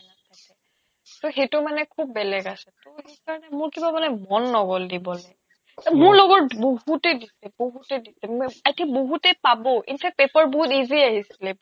সেটো মানে খুব বেলেগ আছে টৌ সেইকাৰণে মোৰ কিবা বোলে মন নগ'ল দিবলে মোৰ লগৰ বহুতে দিছে বহুতে দিছে i think বহুতে পাব in fact paper বহুত easy আহিছিলে